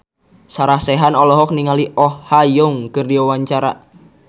Sarah Sechan olohok ningali Oh Ha Young keur diwawancara